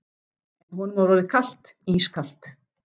En honum var orðið kalt, ískalt.